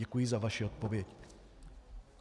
Děkuji za vaši odpověď.